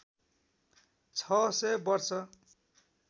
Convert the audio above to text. छ सय वर्ष